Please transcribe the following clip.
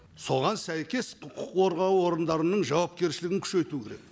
соған сәйкес құқық қорғау орындарының жауапкершілігін күшейту керек